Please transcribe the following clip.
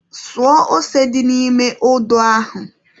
Suo ose dị n'ime odo ahụ.